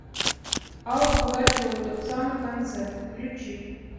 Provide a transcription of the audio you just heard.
алла пугачева тот самый концерт включи